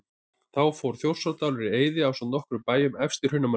Þá fór Þjórsárdalur í eyði ásamt nokkrum bæjum efst í Hrunamannahreppi.